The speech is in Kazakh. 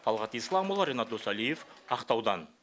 талғат исламұлы ренат досалиев ақтаудан